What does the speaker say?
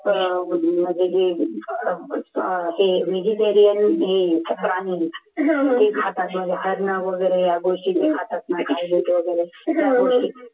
ते खातात मग हरण वगैरे या गोष्टी ते खातात